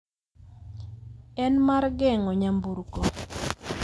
en mar geng'o nyamburko,